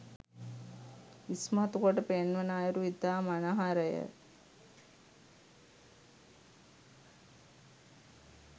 ඉස්මතු කොට පෙන්වන අයුරු ඉතා මනහරය